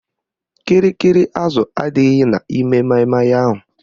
Kịrịkịrị azụ adịghị n'ime maịmaị ahụ